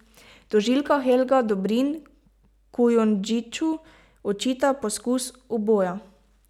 Tožilka Helga Dobrin Kujundžiču očita poskus uboja.